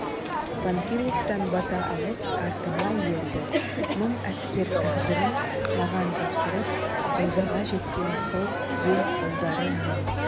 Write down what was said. панфиловтан бата алып артыма ерді мың әскер тағдырын маған тапсырып рузаға жеткен соң ел ұлдары мың